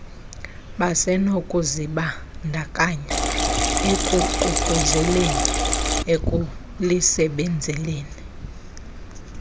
basenokuzibandakanya ekuququzeleleni ekulisebenzeleni